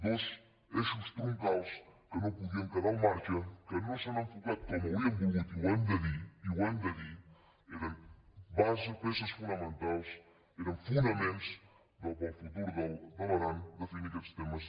dos eixos troncals que no podien quedar al marge que no s’han enfocat com hauríem volgut i ho hem de dir i ho hem de dir eren peces fonamentals eren fo·naments per al futur de l’aran definir aquests temes